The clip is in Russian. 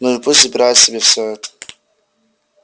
ну и пусть забирают себе всё это